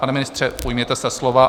Pane ministře, ujměte se slova.